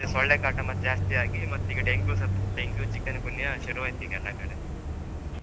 ಮತ್ತ್ ಈ ಸೊಳ್ಳೆ ಕಾಟ ಮತ್ತ್ ಜಾಸ್ತಿ ಆಗಿ, ಮತ್ತ್ ಈಗ dengue ಸ್ವಲ್ಪ dengue, chikungunya ಶುರು ಆಯ್ತ್ ಈಗ ಹಾಗಾರೆ.